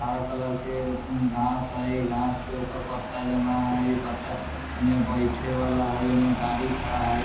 हरा कलर के घास हई घास के ऊपर पत्‍ता जमा हई इ पत्‍ता येने बइठे वाला है ओने गाड़ी खड़ा है।